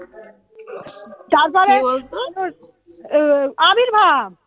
উম আবির্ভাব